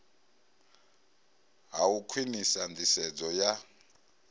ha u khwinisa nḓisedzo ya